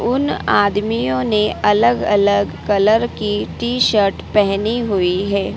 उन आदमियों ने अलग अलग कलर की टी शर्ट पहनी हुई है।